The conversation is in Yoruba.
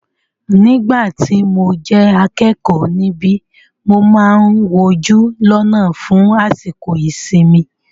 Nígbà tí mo jẹ́ akẹ́kọ̀ọ́ níbi, mo máà ń wojú lọ́nà fún àsìkò ìsinmi.